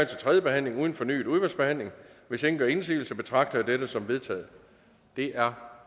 til tredje behandling uden fornyet udvalgsbehandling hvis ingen gør indsigelse betragter jeg dette som vedtaget det er